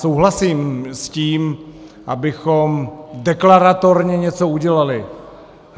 Souhlasím s tím, abychom deklaratorně něco udělali.